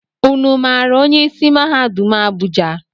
Ụnụ maara onye isi mahadum Abuja?